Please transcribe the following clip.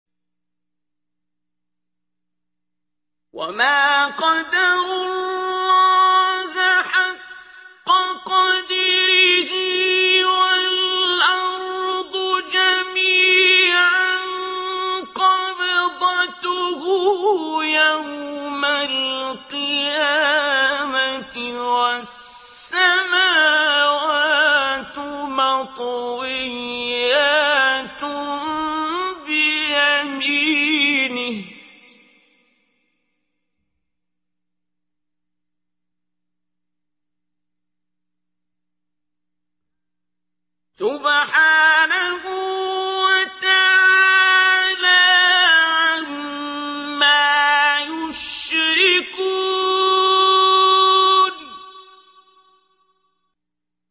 وَمَا قَدَرُوا اللَّهَ حَقَّ قَدْرِهِ وَالْأَرْضُ جَمِيعًا قَبْضَتُهُ يَوْمَ الْقِيَامَةِ وَالسَّمَاوَاتُ مَطْوِيَّاتٌ بِيَمِينِهِ ۚ سُبْحَانَهُ وَتَعَالَىٰ عَمَّا يُشْرِكُونَ